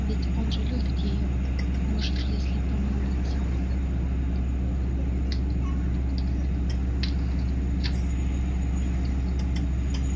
ведь он же любит её может если помолиться